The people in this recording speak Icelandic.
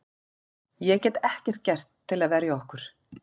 Ég get ekkert gert til að verja okkur.